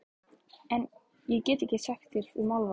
En- ég get ekkert sagt þér um álfa.